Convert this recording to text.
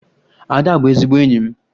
Ada bụ ezigbo enyi m.